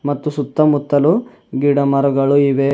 ಮತ್ತು ಸುತ್ತ ಮುತ್ತಲು ಗಿಡ ಮರಗಳು ಇವೆ.